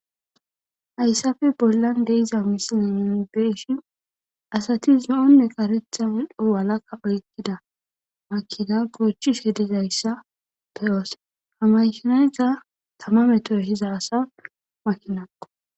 Hayssappe bollan de'iza misilenne nuni beeshin asati zo'onne karetha medho walakka oykkida makkina goochishe de'iya issa beyoos. Ha mashinayta tama metoo diza asa makinakko.